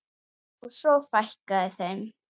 Og svo fækkaði þeim.